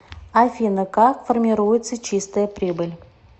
афина как формируется чистая прибыль